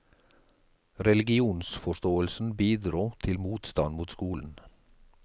Religionsforståelsen bidro til motstand mot skolen.